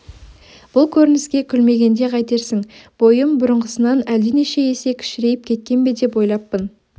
бұл көрініске күлмегенде қайтерсің бойым бұрынғысынан әлденеше есе кішірейіп кеткен бе деп ойлаппын